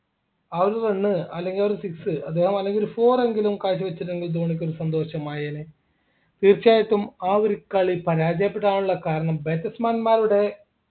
ആ ഒരു run അല്ലെങ്കിൽ ആ ഒരു six അല്ലെങ്കിൽ ആ ഒരു four എങ്കിലും കാഴ്ചവച്ചിട്ടുണ്ടെങ്കിൽ ധോണിക്കൊരു സന്തോഷമായേനെ തീർച്ചയായിട്ടും ആ ഒരു കളി പരാജയപ്പെടാനുള്ള കാരണം batsman മാരുടെ